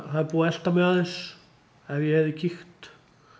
það er búið að elta mig aðeins ef ég hefði kíkt